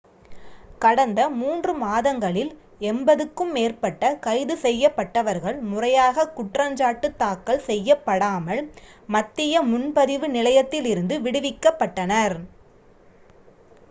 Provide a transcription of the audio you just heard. கடந்த 3 மாதங்களில் 80-க்கும் மேற்பட்ட கைது செய்யப்பட்டவர்கள் முறையாகக் குற்றஞ்சாட்டு தாக்கல் செய்யப்படாமல் மத்திய முன்பதிவு நிலையத்திலிருந்து விடுவிக்கப்பட்டனர்